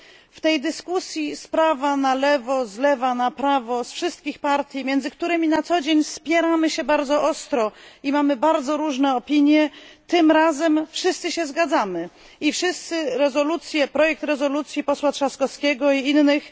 W tej dyskusji, z prawa na lewo, z lewa na prawo, ze wszystkich partii, między którymi na co dzień spieramy się bardzo ostro i mamy bardzo różne opinie, tym razem wszyscy się zgadzamy i wszyscy żywo popieramy projekt rezolucji posła Trzaskowskiego i innych.